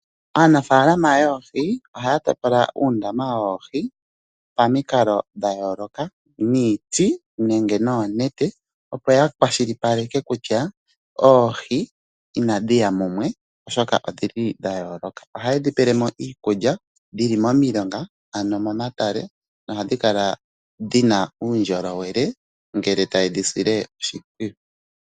Aanafaalama yoohi ohaya topola uundama woohi pa mikalo dha yooloka , niiti nenge noonete. Opo ya kwashilipaleke kutya Oohi inadhi ya mumwe oshoka odhili dha yooloka. Ohaye dhi pele mo iikulya, dhili mo milonga ano mo matale. Nohadhi kala dhina uundjolowele ngele taye dhi sile oshimpwiyu.